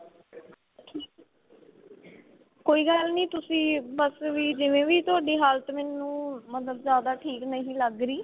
ਕੋਈ ਗੱਲ ਨੀ ਤੁਸੀਂ ਬੱਸ ਵੀ ਜਿਵੇਂ ਵੀ ਤੁਹਾਡੀ ਹਾਲਤ ਮੈਂਨੂੰ ਮਤਲਬ ਜਿਆਦਾ ਠੀਕ ਨਹੀ ਲੱਗ ਰਹੀ